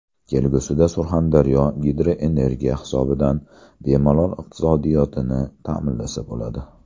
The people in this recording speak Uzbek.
Kelgusida Surxondaryo gidroenergiya hisobidan bemalol iqtisodiyotini ta’minlasa bo‘ladi.